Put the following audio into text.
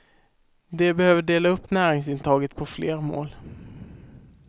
De behöver dela upp näringsintaget på fler mål.